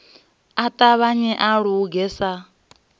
a ṱavhanye a luge sa